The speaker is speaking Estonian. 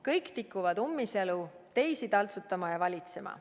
Kõik tikuvad ummisjalu teisi taltsutama ja valitsema.